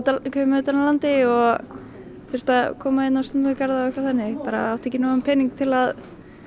utan af landi og þurfti að koma á stúdentagarða og átti ekki nógan pening til að